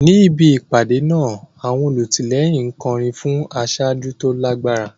Níbi ìpàdé náà, àwọn olùtìlẹ́yìn ń kọrin fún aṣáájú tó lágbára.